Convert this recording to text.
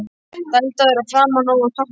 Dældaður að framan og á toppnum.